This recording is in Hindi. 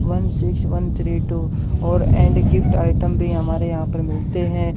One six one three two और ऐन्ड गिफ्ट आइटम भीं हमारे यहाँ पर मिलते हैं।